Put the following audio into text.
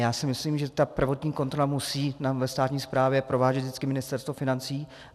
Já si myslím, že tu prvotní kontrolu musí ve státní správě provádět vždycky Ministerstvo financí.